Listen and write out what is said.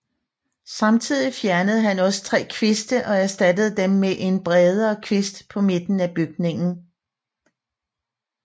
Samtidig fjernede han også tre kviste og erstattede dem med en bredere kvist på midten af bygningen